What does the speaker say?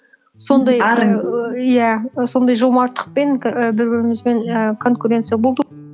сондай иә сондай жомарттықпен к і бір бірімізбен і конкуренция болды